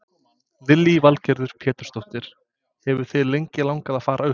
Lillý Valgerður Pétursdóttir: Hefur þig lengi langað að fara upp?